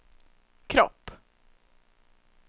kropp